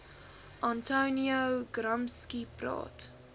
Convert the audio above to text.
antonio gramsci praat